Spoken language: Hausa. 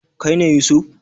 Kai ne Yusuf?